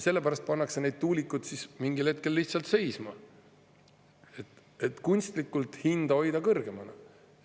Sellepärast pannakse need tuulikud siis mingil hetkel lihtsalt seisma, et kunstlikult hinda kõrgemana hoida.